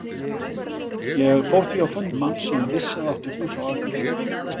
Ég fór því á fund manns sem ég vissi að átti hús á Akureyri.